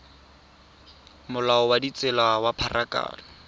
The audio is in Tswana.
molao wa ditsela wa pharakano